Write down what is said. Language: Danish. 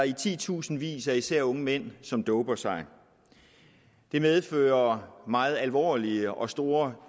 i titusindvis af især unge mænd som doper sig det medfører meget alvorlige og store